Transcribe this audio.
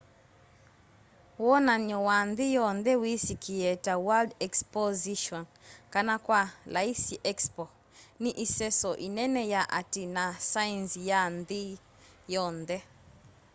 wonany'o wa nthi yonthe wisikie ta world exposition kana kwa laisi expo ni iseso inene ya ati na saenzi ya nthi yonthe